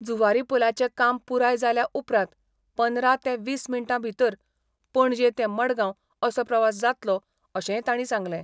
जुवारी पुलाचें काम पुराय जाल्या उपरांत पंदरा ते वीस मिनटां भितर पणजे ते मडगाव असो प्रवास जातलो, अशेंय तांणी सांगलें.